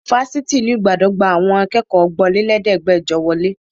Fáfitì ìlú Ìbàdàn gba àwọn akẹ́kọ̀ọ́ ọgbọ́nlẹ́lẹ̀ẹ́dẹ́gbẹjọ wọlé.